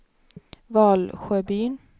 Valsjöbyn